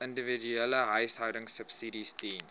individuele behuisingsubsidies diens